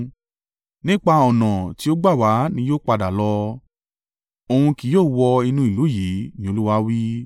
Nípa ọ̀nà tí ó gbà wá náà ni yóò padà lọ; òun kì yóò wọ inú ìlú yìí,” ni Olúwa wí.